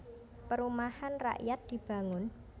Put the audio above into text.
Perumahan rakyat dibangun